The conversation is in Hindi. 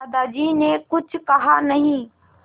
दादाजी ने कुछ कहा नहीं